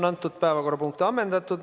Antud päevakorrapunkt on ammendatud.